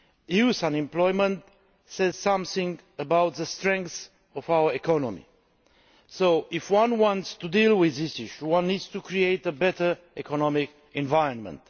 Youth unemployment says something about the strength of our economy, so if one wants to deal with this issue, one needs to create a better economic environment.